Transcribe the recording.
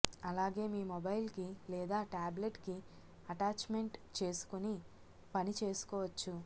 అలాగే మీ మొబైల్ కి లేదా ట్యాబ్లెట్ కి అటాచ్ మెంట్ చేసుకుని పని చేసుకోవచ్చు